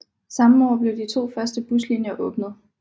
Samme år blev de første to buslinjer åbnet